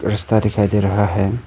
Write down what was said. रास्ता दिखाई दे रहा है।